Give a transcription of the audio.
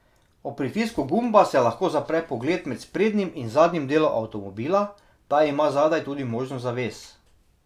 Ob pritisku gumba se lahko zapre pogled med sprednjim in zadnjim delom avtomobila, ta ima zadaj tudi možnost zaves.